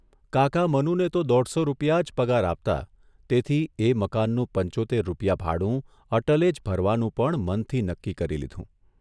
કાકા મનુને તો દોઢસો રૂપિયા જ પગાર આપતા તેથી એ મકાનનું પંચોત્તેર રૂપિયા ભાડું અટલે જ ભરવાનું પણ મનથી નક્કી કરી લીધું.